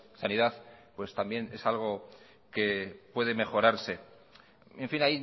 sanidad pues también es algo que puede mejorarse en fin